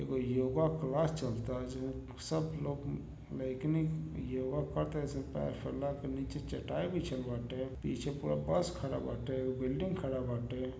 एगो योगा क्लास चलता जिसमें सब लोग योगा करतनी सन पैर फैला के। नीचे चटाई बिछल बाटे पीछे पूरा बस खड़ा बाटे बिल्डिंग खड़ा बाटे।